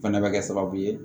Fana bɛ kɛ sababu ye